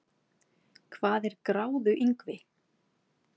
hvað er gráðuingvi